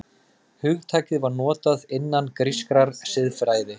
Hugtakið var notað innan grískrar siðfræði.